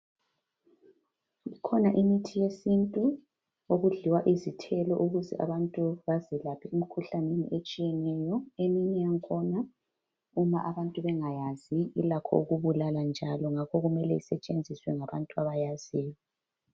Kukhona imithi yesintu okudliwa izithelo ukuze abantu bazelaphe emikhuhlaneni etshiyeneyo. Eminye yakhona uma abantu bengayazi ilakho ukubulala njalo ngakho kumele isetshenziswe ngabantu abayaziyo.